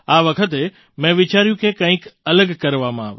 આ વખતે મેં વિચાર્યું કે કંઈક અલગ કરવામાં આવે